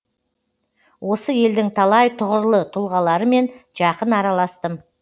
осы елдің талай тұғырлы тұлғаларымен жақын араластым